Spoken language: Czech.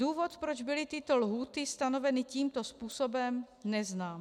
Důvod, proč byly tyto lhůty stanoveny tímto způsobem, neznám.